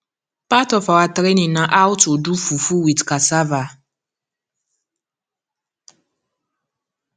part of our training na how to do fufu with cassava